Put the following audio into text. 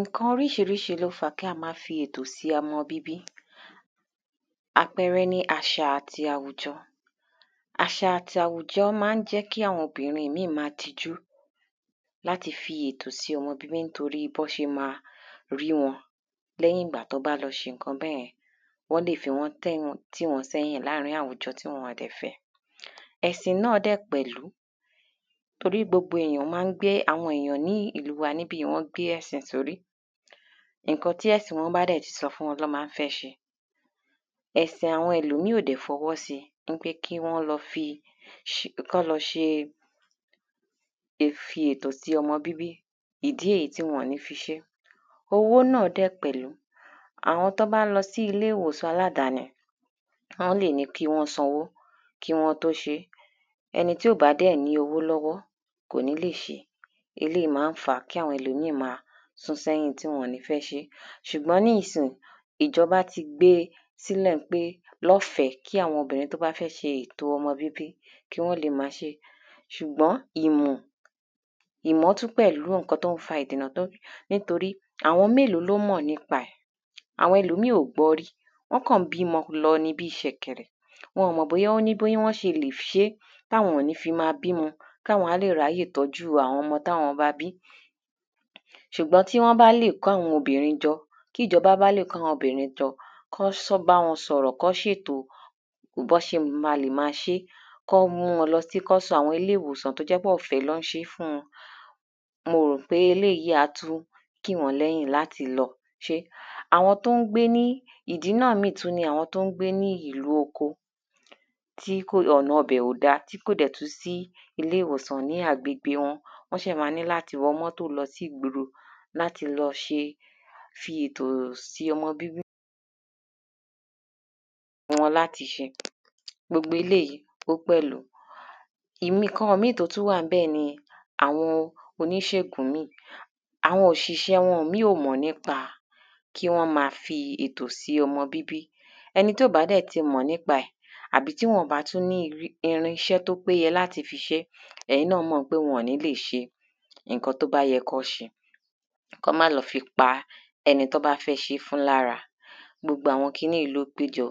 Nǹkan oríṣiríṣi ló fa kí á má fi ètò sí ọmọ bíbí àpẹrẹ ni àṣà àti àwùjọ. Àṣà àti àwùjọ má ń jẹ́ kí àwọn obìnrin míì má tijú láti fi ètò sí ọmọ bíbí torí bán ṣe má rí wọn lẹ́yìn ìgbà tí wọ́n bá lọ ṣe nǹkan bẹ́yẹn wọ́n lè fiwọ́ tí wọ́n sẹ́yìn láàrin àwùjọ tí wọn dẹ̀ fẹ́. Ẹ̀sìn náà dẹ̀ pẹ̀lú torí gbogbo èyàn má ń gbé àwọn èyàn ní ìlú wa níbí má ń gbé ẹ̀sìn sórí nǹkan tí ẹ̀sìn wọn bá dẹ̀ ti sọ ni wọ́n má ń fẹ́ ṣe ẹ̀sìn àwọn ẹlòmíì ò dẹ̀ fọwọ́ sí pé kí wọ́n lọ ṣe ṣe ìfètò sí ọmọ bíbí ìdí rẹ́ tí wọn ní fi ṣé. Owó náà dẹ̀ pẹ̀lú àwọn tán bá ń lọ sí ilé ìwòsàn aládaní wọ́n lè ní kí wọ́n sanwó kí wọ́n tó ṣé ẹni tí ò bá dẹ̀ ní owó lọ́wọ́ kò ní lè ṣé eléèyí má ń fàá kí àwọn ẹlòmíì má sún sẹ́yìn tí wọn ò ní fẹ́ ṣé. Ṣùgbọ́n nísìyìí ìjọba ti gbé sílẹ̀ pé lọ́fẹ̀ẹ́ kí àwọn obìnrin tí wọ́n bá fẹ́ ṣe ètò ọmọ bíbí kí wọ́n le má ṣe ṣùgbọ́n ìmọ̀ ìmọ̀ tún pẹ̀lú nǹkan tó ń fa ìdènà tó ń nítorí àwọn mélòó ló mọ̀ nípa ẹ̀ àwọn míì ò gbọ́ rí wọ́n kàn ń bímọ lọ ni bí ṣẹ̀kẹ̀rẹ̀ wọn ò mọ̀ bóyá ó ní bọ́n ṣe lè ṣé táwọn ò fi ní mọ́ bímọ káwọn á lè ráyè tọ́jú àwọn ọmọ tí àwọn bá bí. ṣùgbọ́n tí wọ́n bá lè kó àwọn obìnrin jọ tíjọba bá lè kó àwọn obìnrin jọ kán sọ kán bá wọn sọ̀rọ̀ kán ṣètò bán ṣe má ṣe kán mú wọn lọ sí kán sọ àwọn ilé ìwòsàn tó jẹ́ pé ọ̀fẹ́ ni wọ́n má bá wọn ṣé mo rò pé eléèyí á tún kí wọ́n lẹ́yìn láti lọ ṣé. Àwọn tó ń gbé ní ìdí míràn tún ni àwọn tó ń gbé ní oko kí ọ̀nà ibẹ̀ ò dá tí kò dẹ̀ tún sí ilè ìwòsàn ní agbègbè wọn wọ́n ṣì má ní láti wọ mọ́tò lọ sí ìgboro láti lọ ṣé fi ètò sí ọmọ bíbí fún wọn láti ṣe gbogbo eléèyí ó pẹ̀lú. ìmí nǹkan mí tó tṹ wà ńbẹ̀ ni àwọn oníṣègùn míì àwọn òṣìsẹ́ wọn míì ò mọ́ nípa kí wọ́n má fi ètò sí ọmọ bíbí ẹni tí ò bá dẹ̀ ti mọ̀ nípa ẹ̀ tàbí tí wọn ò bá tún ní irínṣẹ́ láti ṣiṣẹ́ ẹ̀yin náà mọ̀ pé wọn ò ní lè ṣe nǹkan tán bá yẹ́ kán ṣe kán má lọ fi pa ẹni tán bá fẹ́ ṣé fún lára gbogbo àwọn kiní yìí ló péjọ